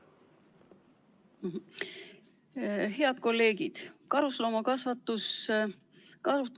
Head kolleegid!